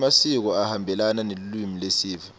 emasiko ahambelana nelulwimi lesive